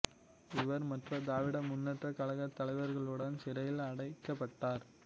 இவர் மற்ற திராவிட முன்னேற்ற கழக தலைவர்களுடன் சிறையில் அடைக்கப்பட்டார்